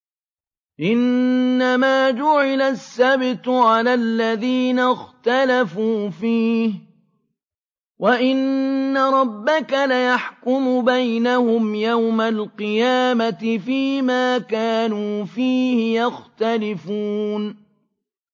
إِنَّمَا جُعِلَ السَّبْتُ عَلَى الَّذِينَ اخْتَلَفُوا فِيهِ ۚ وَإِنَّ رَبَّكَ لَيَحْكُمُ بَيْنَهُمْ يَوْمَ الْقِيَامَةِ فِيمَا كَانُوا فِيهِ يَخْتَلِفُونَ